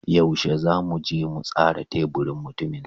Yaushe zamu je mu tsara teburin mutumin?